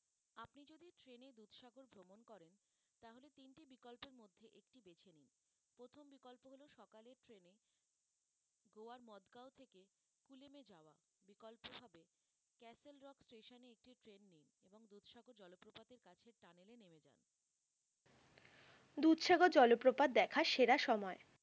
দুধসাগর জলপ্রপাত দেখার সেরা সময়?